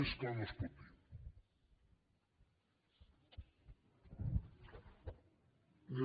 més clar no es pot dir